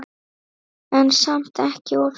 En samt ekki of heitt.